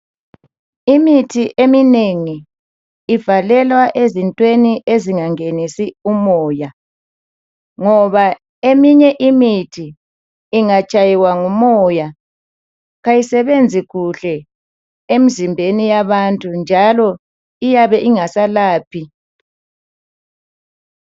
Imithi eminengi ivalelwa ezintweni ezingangenisi umoya ngoba eminye imithi ingatshaywa ngumoya kayisebenzi kuhle emzimbeni yabantu njalo iyabe ingasalaphi.